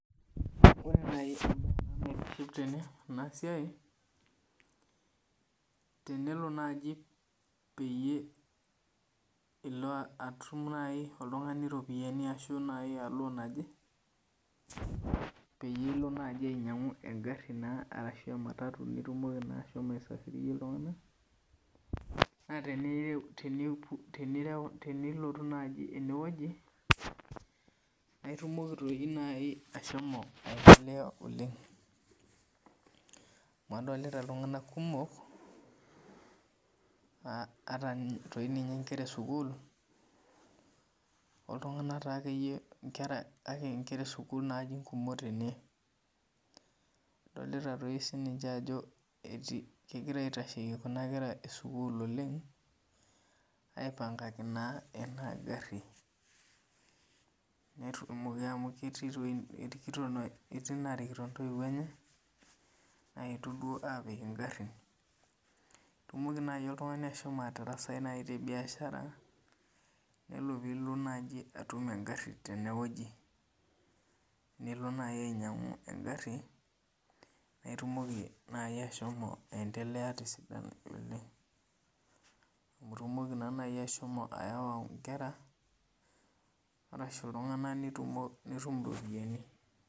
Ore na enasiai tenelo nai peyie ilo atum oltungani iropiyiani ashu iya loan naje pitumoki nai ashomoa inyangu engaru ashu ematatu nitumoki ashomo aisafirisha ltunganak na tenireu nai enewueji naitumoki ashomo ainoto oleng amu adolta ltunganak kumok ataa nye nkera esukul oltungani akeyie kake nkera esukul nkumok tene adolta sinche ajo legirai aitasheyie kuna kera esukul aipangakie enagari netumoki amu keti etii narikito ntoiwuo enye aponu apik engari, itumoki nai oltungani ashomo atarasai nai tebiashara nelo nidim ainoto engaru tenewueji nelo ninyangu engaru naitumoki nai ashomo aendelea tesidano oleng amu itumoki nai ashomo ayawa nkera nitum iropiyani.